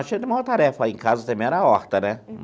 Cheio de maior tarefa aí em casa também era a horta, né?